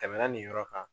Tɛmɛna nin yɔrɔ kan